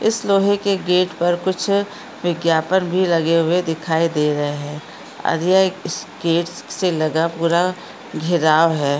इस लोहे के गेट पर कुछ विज्ञापन बी लगे हुए दिखाई दे रहे है इस गेट से लगा पूरा घिराव है।